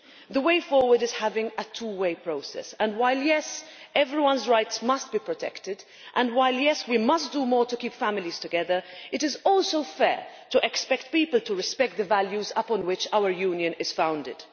The way forward is to have a two way process, and while, yes, everyone's rights must be protected and yes, we must do more to keep families together, it is also fair to expect people to respect the values upon which our Union is founded.